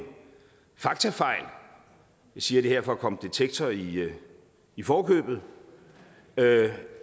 faktafejl jeg siger det her for at komme detektor i i forkøbet